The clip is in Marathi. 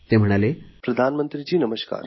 पंतप्रधानजी नमस्कार